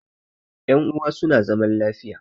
yanuwa suna zaman lafiya